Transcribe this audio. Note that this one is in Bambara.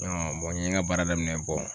n ye n ka baara daminɛ